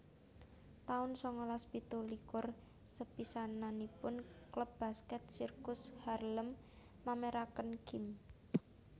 taun sangalas pitulikur Sepisananipun klub basket sirkus Harlem mameraken gim